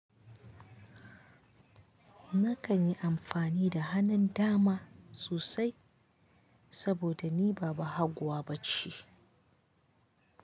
Na kan yi amfani da hanan dama sosai saboda ni ba bahaguwa ba ce.